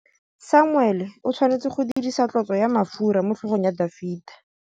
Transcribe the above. Samuele o tshwanetse go dirisa tlotsô ya mafura motlhôgong ya Dafita.